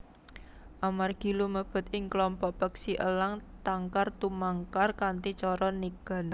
Amargi lumebet ing klompok peksi elang tangkar tumangkar kanthi cara nigan